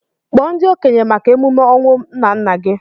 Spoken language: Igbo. Kpọọ ndị okenye maka emume ọnwụ nnanna gị!